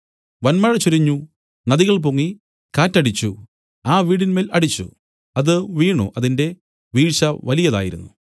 വന്മഴ ചൊരിഞ്ഞു നദികൾ പൊങ്ങി കാറ്റ് അടിച്ചു ആ വീടിന്മേൽ അടിച്ചു അത് വീണു അതിന്റെ വീഴ്ച വലിയതായിരുന്നു